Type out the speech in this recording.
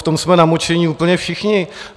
V tom jsme namočení úplně všichni.